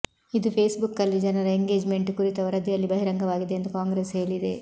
ಇದು ಫೇಸ್ಬುಕ್ನಲ್ಲಿ ಜನರ ಎಂಗೇಜ್ಮೆಂಟ್ ಕುರಿತ ವರದಿಯಲ್ಲಿ ಬಹಿರಂಗವಾಗಿದೆ ಎಂದು ಕಾಂಗ್ರೆಸ್ ಹೇಳಿದೆ